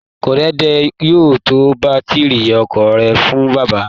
Korede yóò ta bátíri ọkọ̀ rẹ̀ fún bàbá